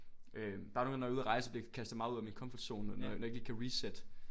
Øh der er nogen gange når jeg er ude at rejse så bliver jeg kastet meget ud af min komfortzone når jeg ikke lige kan reset